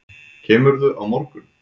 Kemurðu á morgun?